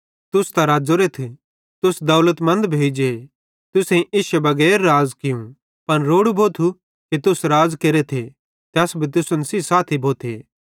तुस त रज़ोरेथ तुस दौलतमन्द भोइजेइ तुसेईं इश्शे बगैर राज़ कियूं पन रोड़ू भोथू कि तुस राज़ केरेथे ते अस भी तुसन सेइं साथी भोथे